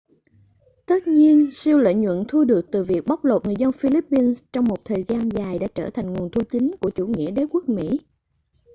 tất nhiên siêu lợi nhuận thu được từ việc bóc lột người dân philippines trong một thời gian dài đã trở thành nguồn thu chính của chủ nghĩa đế quốc mỹ